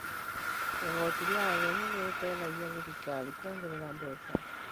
Igooti rĩa ageni nĩ rĩteithagia thirikari kuongerera mbeca.